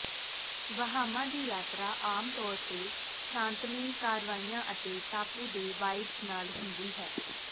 Bahama ਦੀ ਯਾਤਰਾ ਆਮ ਤੌਰ ਤੇ ਸ਼ਾਂਤਮਈ ਕਾਰਵਾਈਆਂ ਅਤੇ ਟਾਪੂ ਦੇ ਵਾਈਬਜ਼ ਨਾਲ ਹੁੰਦੀ ਹੈ